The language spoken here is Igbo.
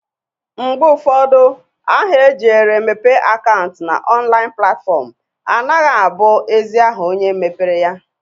Mgbe ụfọdụ aha e jiere mepe akaụnt n'ọnlaịn platfọm anagha abụ ezi aha onye mepere ya.